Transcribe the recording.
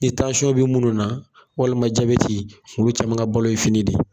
Ni bɛ munnu na walima jabɛti olu caman ka balo ye fini de.